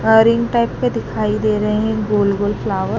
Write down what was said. Herring type के दिखाई दे रहे है गोल गोल फ्लावर ।